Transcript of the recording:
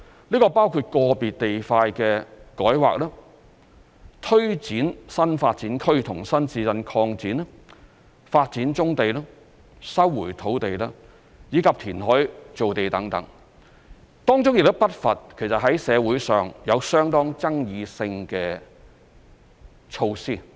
這包括個別地塊的改劃、推展新發展區和新市鎮擴展、發展棕地、收回土地，以及填海造地等，當中亦不乏社會上有相當爭議性的措施。